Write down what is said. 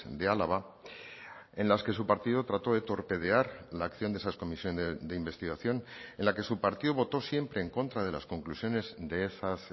de álava en las que su partido trato de torpedear la acción de esas comisiones de investigación en la que su partido votó siempre en contra de las conclusiones de esas